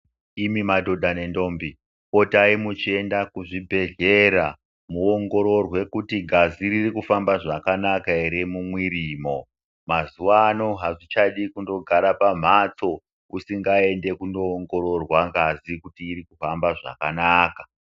Imi madhodha nendambi potai muchienda kuchibhedhlera muongororwe kuti ngazi ririkufamba zvakanaka ere mumwirimwo mazuwano azvichadi kundogara pamhatso usingaendi kundoongororwa ngazi kuti iri kufamba zvakanaka.